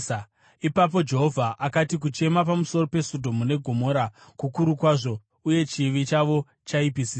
Ipapo Jehovha akati, “Kuchema pamusoro peSodhomu neGomora kukuru kwazvo uye chivi chavo chaipisisa